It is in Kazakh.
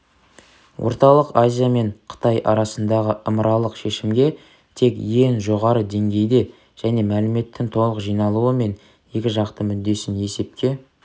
орталық азия мен қытай арасындағы ымыралық шешімге тек ең жоғары деңгейде және мәліметтің толық жиналуы мен екі жақтың мүддесін есепке